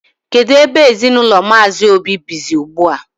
Kedụ ebe ezinụlọ Mmazi Obi bizi ugbua?